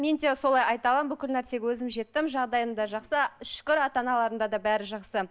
мен де солай айта аламын бүкіл нәрсеге өзім жеттім жағдайым да жақсы шүкір ата аналарымда да бәрі жақсы